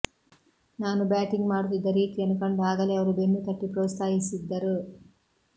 ನಾನು ಬ್ಯಾಟಿಂಗ್ ಮಾಡುತ್ತಿದ್ದ ರೀತಿಯನ್ನು ಕಂಡು ಆಗಲೇ ಅವರು ಬೆನ್ನುತಟ್ಟಿ ಪ್ರೋತ್ಸಾಹಿಸಿದ್ದರು